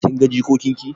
Kin ga jikokin ki?